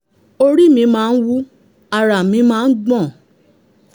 orí mí máa n wú ara mí máa ń gbọ̀n